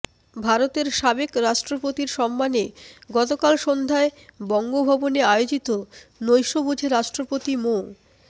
ভারতের সাবেক রাষ্ট্রপতির সম্মানে গতকাল সন্ধ্যায় বঙ্গভবনে আয়োজিত নৈশভোজে রাষ্ট্রপতি মো